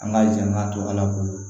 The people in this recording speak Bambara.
An ka janna to ala bolo